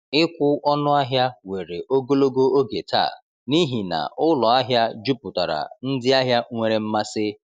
Ịkwụ ọnụ ahịa were ogologo oge taa n’ihi na ụlọ ahịa juputara ndị ahịa nwere mmasị.